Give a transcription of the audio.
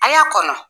A y'a kɔnɔ